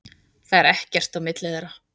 Það er ekkert á milli þeirra.